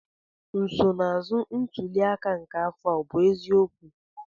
nsonaazụ ntuli aka nke afọ a ọ bụ eziokwu?